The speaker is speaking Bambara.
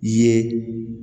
Ye